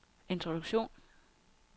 introduktion